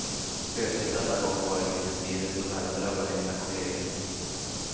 Spöket denna gång var ett litet virus som även drabbade mina kolleger.